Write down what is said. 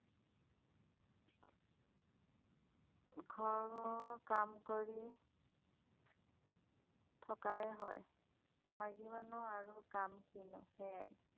ঘৰৰ কাম কৰি থকাই হয় মাইকী মানুহ আৰু কাম কিনো সেয়াই